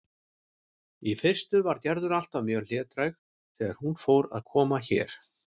Í fyrstu var Gerður alltaf mjög hlédræg þegar hún fór að koma hér.